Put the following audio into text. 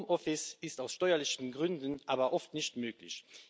Home office ist aus steuerlichen Gründen aber oft nicht möglich.